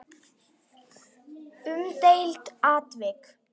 Umdeilt atvik?